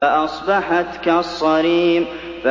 فَأَصْبَحَتْ كَالصَّرِيمِ